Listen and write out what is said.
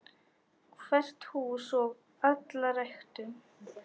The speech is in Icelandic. Hvert hús og alla ræktun.